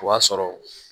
O b'a sɔrɔ